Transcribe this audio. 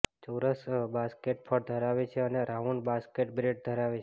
ચોરસ બાસ્કેટ ફળ ધરાવે છે અને રાઉન્ડ બાસ્કેટ બ્રેડ ધરાવે છે